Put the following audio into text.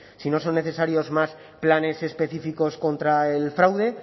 si no son necesarios más planes específicos contra el fraude